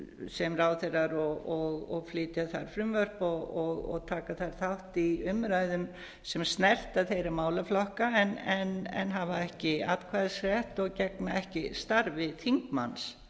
sem ráðherrar og flytja þar frumvörp og taka þar þátt í umræðum sem snerta þeirra málaflokka en hafa ekki atkvæðisrétt og gegna ekki starfi þingmanns